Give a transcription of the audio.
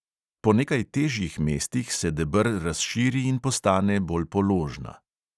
Po nekaj težjih mestih se deber razširi in postane bolj položna.